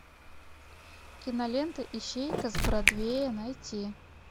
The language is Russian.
кинолента ищейка с бродвея найти